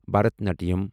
بھرتناٹِیم